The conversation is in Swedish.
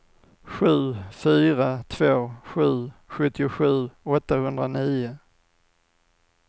sju fyra två sju sjuttiosju åttahundranio